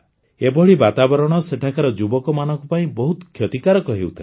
ଏଭଳି ବାତାବରଣ ସେଠାକାର ଯୁବକମାନଙ୍କ ପାଇଁ ବହୁତ କ୍ଷତିକାରକ ହେଉଥିଲା